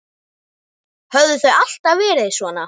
Höfðu þau alltaf verið svona?